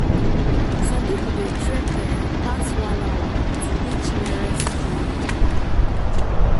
some people dey trek um pass one hour to reach nearest clinic.